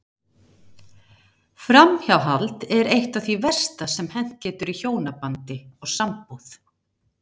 Framhjáhald er eitt af því versta sem hent getur í hjónabandi og sambúð.